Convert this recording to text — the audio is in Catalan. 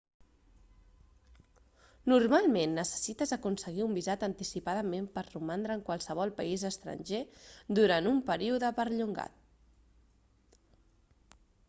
normalment necessites aconseguir un visat anticipadament per romandre en qualsevol país estranger durant un període perllongat